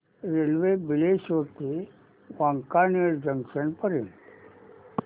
railway Bileshwar ते Wankaner junction पर्यंत